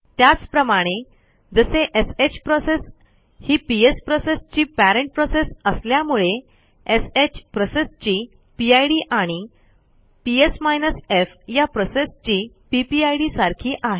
त्याचप्रमाणे जसे श प्रोसेस ही पीएस प्रोसेसची पेरेंट प्रोसेस असल्यामुळे श प्रोसेसची पिड आणि पीएस माइनस एफ या प्रोसेसची पीपीआयडी सारखी आहे